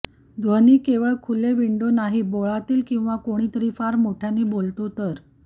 ध्वनी केवळ खुले विंडो नाही बोळातील किंवा कोणीतरी फार मोठ्याने बोलतो तर